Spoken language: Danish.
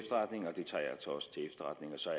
så